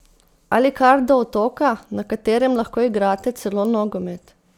Ali kar do otoka, na katerem lahko igrate celo nogomet!